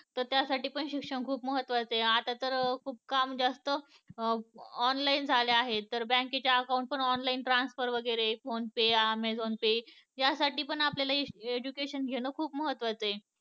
तर त्या साठी पण शिक्षण खूप महत्वाचं आहे. आता तर काम जास्त online झाले आहे तर bank चे account पण online transfer वगैरे फोनेपे ऍमेझॉन पे या साठी पण आपल्याला education घेणं खूप महत्वाचं आहे